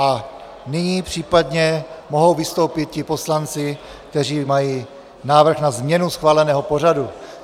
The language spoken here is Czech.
A nyní případně mohou vystoupit ti poslanci, kteří mají návrh na změnu schváleného pořadu.